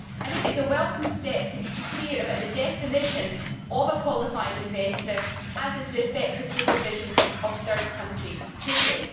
I think it is a welcome step to be clear about the definition of a qualified investor as is the effect of supervision of third country trading.